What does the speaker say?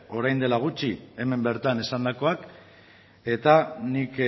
orain dela gutxi hemen bertan esandakoak eta nik